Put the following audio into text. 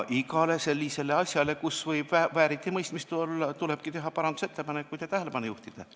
Iga sellise asja kohta, kus võib vääritimõistmist olla, tulebki teha parandusettepanekuid ja neile tähelepanu juhtida.